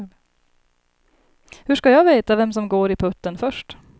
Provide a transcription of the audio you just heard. Hur ska jag veta vem som går i putten först?